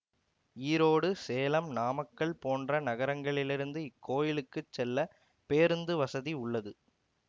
ஈரோடு சேலம் நாமக்கல் போன்ற நகரங்களிலிருந்து இக்கோயிலுக்குச் செல்ல பேருந்துவசதி உள்ளது